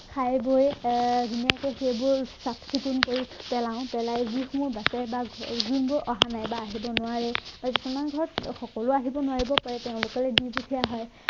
খাই বৈ আহ ধুনীয়াকে সেইবোৰ চাফ চিকুণ কৰি পেলাও পেলাই দি শুও যোন যোন অহা নাই বা আহিব নোৱাৰে যিমান ধৰক সকলো আহিব নোৱাৰিব পাৰে তেওঁলোকলে দি পঠিওৱা হয়